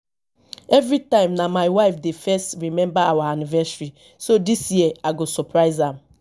everytime na my wife dey first remember our anniversary so dis year i go surprise am